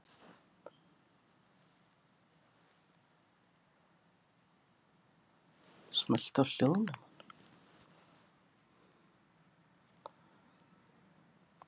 Hvernig er stemningin hjá Tindastóli fyrir komandi tímabil?